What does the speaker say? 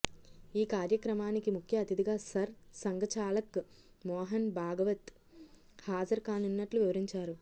ఈ కార్యక్రమానికి ముఖ్య అతిధిగా సర్ సంఘచాలక్ మోహన్ భాగవత్ హాజరుకానున్నట్లు వివరించారు